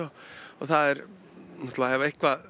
það er eitthvað